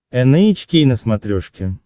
эн эйч кей на смотрешке